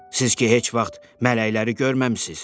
Siz ki, heç vaxt mələkləri görməmisiniz.